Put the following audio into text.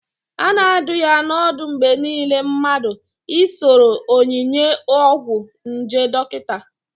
A na adụ ya n'ọdụ mgbe niile mmadụ I soro onyinye ọgwụ nje dọkịta